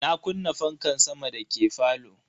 Na kunna fankan sama dake falo.